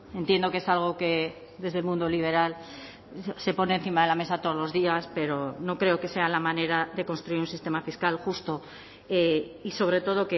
entiendo que es algo que desde el mundo liberal se pone encima de la mesa todos los días pero no creo que sea la manera de construir un sistema fiscal justo y sobre todo